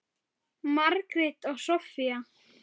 Margrét og Soffía.